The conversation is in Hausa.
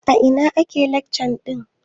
A ina ake lacca ɗin?